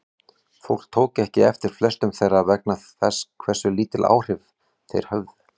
Fólk tók ekki eftir flestum þeirra vegna þess hversu lítil áhrif þeir höfðu.